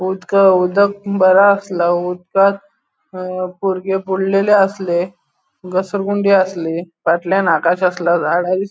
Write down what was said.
उदका उदक बर आसला उदकांत अ बुरगे बुडलेले आसले घसरगुंडी आसली फाटल्याण आकाश अस्लो --